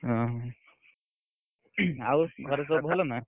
ଓହୋ, ଆଉ ଘରେ ସବୁ ଭଲ ନା?